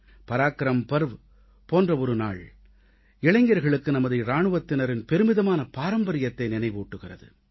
பராக்கிரம் பர்வ போன்ற ஒரு நாள் இளைஞர்களுக்கு நமது இராணுவத்தினரின் பெருமிதமான பாரம்பரியத்தை நினைவூட்டுகிறது